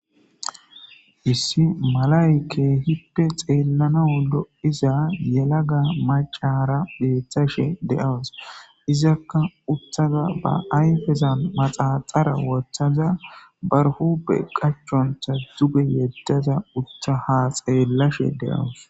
Issi malay keehippe xeellanau lo'iza yelaga macara beeththashe de'awus izakka uuttada ba ayfezan maxaaxara wooththada ba huuphphe qaachontta duuge yeddaza uutta ha xeellashe de'awus